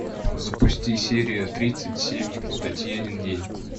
запусти серия тридцать семь татьянин день